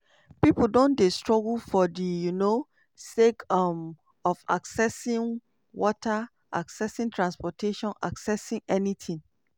"pipo don dey struggle for di um sake um of accessing water accessing transportation accessing anytin